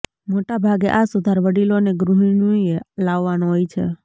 મોટા ભાગે આ સુધાર વડીલો અને ગૃહિણીએ લાવવાનો હોય છે